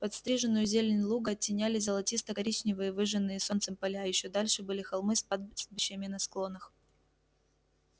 подстриженную зелень луга оттеняли золотисто коричневые выжженные солнцем поля ещё дальше были холмы с пастбищами на склонах